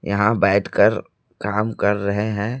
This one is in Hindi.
यहां बैठकर काम कर रहे हैं।